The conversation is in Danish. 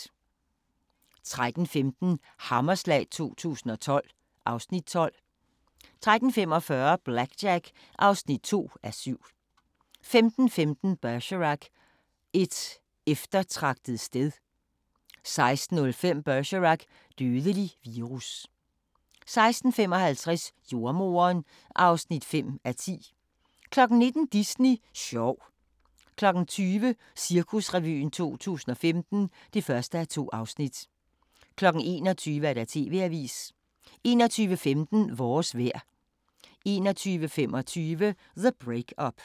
13:15: Hammerslag 2012 (Afs. 12) 13:45: BlackJack (2:7) 15:15: Bergerac: Et eftertragtet sted 16:05: Bergerac: Dødelig virus 16:55: Jordemoderen (5:10) 19:00: Disney sjov 20:00: Cirkusrevyen 2015 (1:2) 21:00: TV-avisen 21:15: Vores vejr 21:25: The Break-Up